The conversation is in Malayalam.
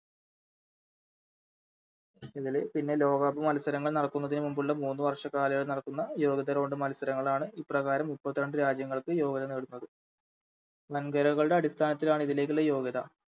പ്പോതില് പിന്നെ ലോകകപ്പ്‌ മത്സരങ്ങൾ നടക്കുന്നതിനു മുമ്പുള്ള മൂന്ന് വർഷകാലയ നടക്കുന്ന യോഗ്യത Round മത്സരങ്ങളാണ് ഇപ്രകാരം മുപ്പത്തി രണ്ട് രാജ്യങ്ങൾക്ക് യോഗ്യത നേടുന്നത് വൻകരയുടെ അടിസ്ഥാനത്തിലാണ് ഇതിലേക്കുള്ള യോഗ്യത